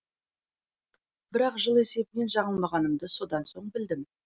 бірақ жыл есебінен жаңылмағанымды содан соң білдім